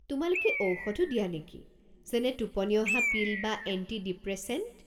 তোমালোকে ঔষধো দিয়া নেকি, যেনে টোপনি অহা পিল বা এণ্টি-ডিপ্রেছেণ্ট?